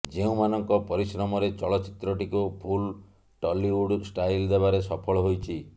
ଯେଉଁମାନଙ୍କ ପରିଶ୍ରମରେ ଚଳଚ୍ଚିତ୍ରଟିକୁ ଫୁଲ୍ ଟଲିଉଡ୍ ଷ୍ଟାଇଲ୍ ଦେବାରେ ସଫଳ ହୋଇଛି